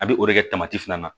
A bɛ o de kɛ fana na